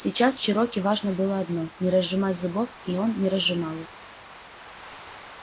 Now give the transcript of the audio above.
сейчас чероки важно было одно не разжимать зубов и он не разжимал их